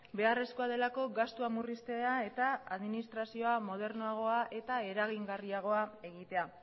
beharrezkoa delako gastua murriztea eta administrazioa modernoagoa eta eragingarriagoa egitea